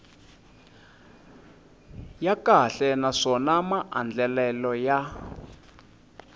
ya kahle naswona maandlalelo ya